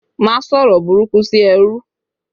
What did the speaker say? Má sọ̀rọ̀ burúkú sí ẹrú